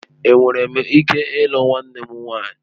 Enwere m ike ịlụ nwanne m nwanyị?